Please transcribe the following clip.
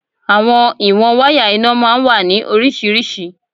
Àwọn ìwọ̀n wáyà iná máa ń wà ní oríṣiríṣi.